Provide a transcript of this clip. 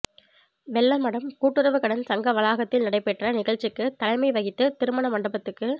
வெள்ளமடம் கூட்டுறவு கடன் சங்க வளாகத்தில் நடைபெற்ற நிகழ்ச்சிக்கு தலைமை வகித்து திருமண மண்டபத்துக்கு